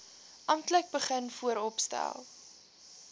amptelik begin vooropstel